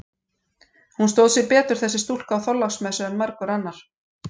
Hún stóð sig betur, þessi stúlka, á Þorláksmessu en margur annar.